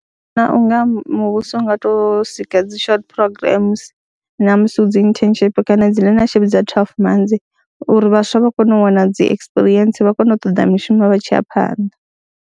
Nṋe ndi vhona u nga muvhuso u nga tou sika dzi short programs na musi hu dzi internship kana dzi learnership dza twelve months uri vhaswa vha kone u wana dzi ekisipirientsi, vha kone u ṱoḓa mishumo vha tshi ya phanḓa.